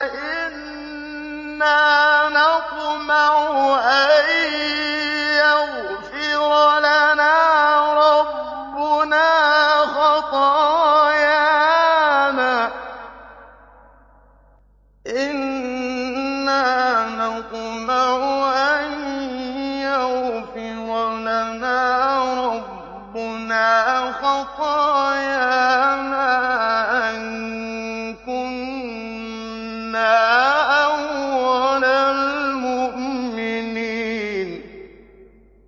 إِنَّا نَطْمَعُ أَن يَغْفِرَ لَنَا رَبُّنَا خَطَايَانَا أَن كُنَّا أَوَّلَ الْمُؤْمِنِينَ